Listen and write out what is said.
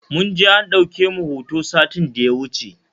Mun je an ɗauke mu a hoto satin da ya wuce